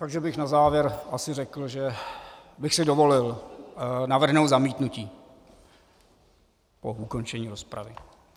Takže bych na závěr asi řekl, že bych si dovolil navrhnout zamítnutí po ukončení rozpravy.